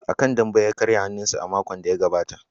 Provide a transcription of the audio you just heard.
A kan dambe ya karya hannunsa a makon da ya gabata.